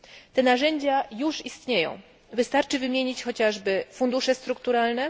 Te narzędzia już istnieją, wystarczy wymienić chociażby fundusze strukturalne,